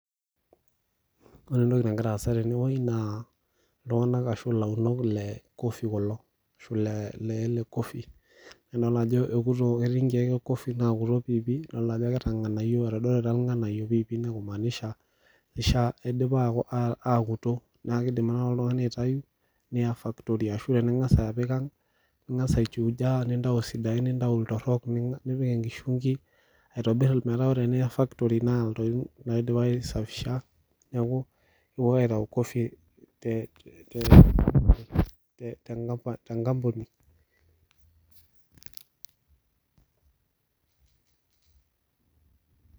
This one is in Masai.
ore entoki nagira aasa tene naa ilaunok kulo le coffee, naa idol ajo ekuto adolita ajo etodorita ing'anayio idipa aakuto naa kidim ake neya factory ashu neya aang' achuja nintau sidain , nintau iltorok ninang'aa, meetaa ore tiniya factory naidipaki aisafisha.